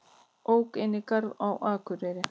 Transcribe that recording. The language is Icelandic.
Ók inn í garð á Akureyri